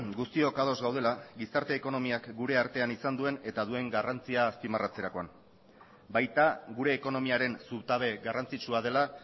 guztiok ados gaudela gizarte ekonomiak gure artean izan duen eta duen garrantzia azpimarratzerakoan baita gure ekonomiaren zutabe garrantzitsua dela